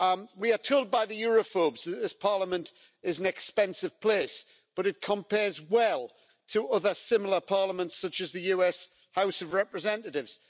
We are told by the Europhobes that this Parliament is an expensive place but it compares well to other similar Parliaments, such as the US House of Representatives.